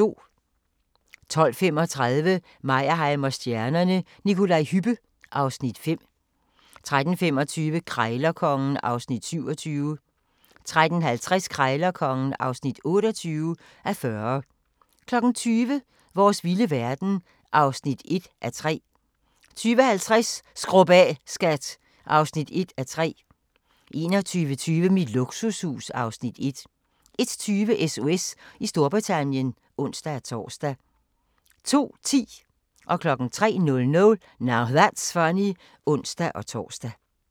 12:35: Meyerheim & stjernerne: Nikolaj Hübbe (Afs. 5) 13:25: Krejlerkongen (27:40) 13:50: Krejlerkongen (28:40) 20:00: Vores vilde verden (1:3) 20:50: Skrub af, skat (1:3) 21:20: Mit luksushus (Afs. 1) 01:20: SOS i Storbritannien (ons-tor) 02:10: Now That's Funny (ons-tor) 03:00: Now That's Funny (ons-tor)